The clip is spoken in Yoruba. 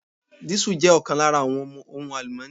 Diesel jẹ́ ọ̀kan lára àwọn ohun àlùmọ́ni.